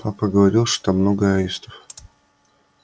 папа говорил что много аистов